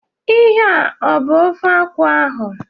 Ihe a ọ bụ ofe akwụ ahụ?